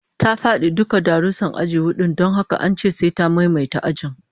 Ta fadi dukkan darussan aji hudu don haka an ce sai ta maimaita ajin